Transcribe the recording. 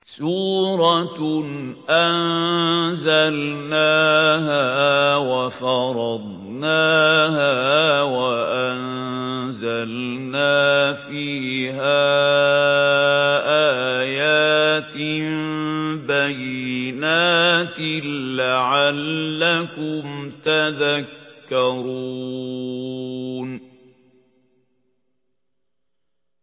سُورَةٌ أَنزَلْنَاهَا وَفَرَضْنَاهَا وَأَنزَلْنَا فِيهَا آيَاتٍ بَيِّنَاتٍ لَّعَلَّكُمْ تَذَكَّرُونَ